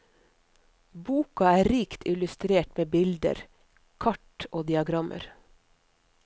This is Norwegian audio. Boka er rikt illustrert med bilder, kart og diagrammer.